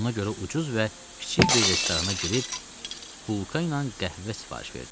Ona görə ucuz və kiçik bir restorana girib bulka ilə qəhvə sifariş verdim.